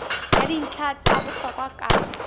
ya dintlha tsa bohlokwa ka